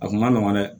A kun ma nɔgɔn dɛ